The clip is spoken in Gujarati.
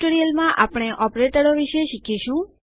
અન્ય ટ્યુટોરીયલમાં આપણે ઓપરેટરો વિશે શીખીશું